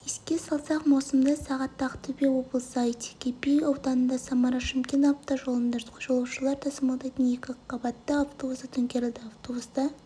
еске салсақ маусымда сағатта ақтөбе облысы айтекеби ауданында самара-шымкент автожолында жолаушылар тасымалдайтын екіқабатты автобусы төңкерілді автобуста